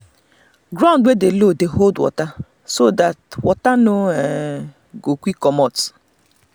ground wey dey low dey hold water so that water no um go quick comot.